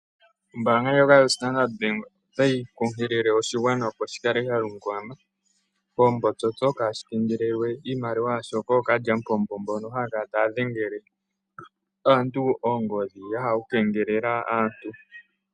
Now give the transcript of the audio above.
Ombaanga ndjoka yoStandrd bank otayi nkunkilie oshigwana opo shi ikaleke kokule naantu mboka haya kala taya dhengele aantu oongodhi ya hala okukengelela aantu.